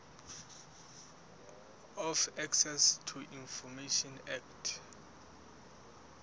of access to information act